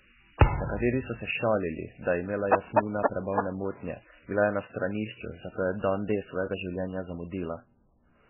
Nekateri so se šalili, da je imela Jasmina prebavne motnje, bila je na stranišču, zato je dan D svojega življenja zamudila.